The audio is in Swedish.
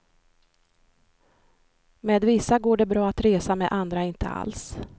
Med vissa går det bra att resa, med andra inte alls.